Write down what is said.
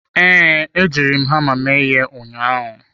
Ee, ejiri m hama mee ihe ụnyaahụ.